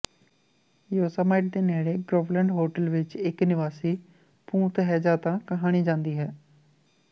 Yosemite ਦੇ ਨੇੜੇ Groveland hotel ਵਿਚ ਇਕ ਨਿਵਾਸੀ ਭੂਤ ਹੈ ਜਾਂ ਤਾਂ ਕਹਾਣੀ ਜਾਂਦੀ ਹੈ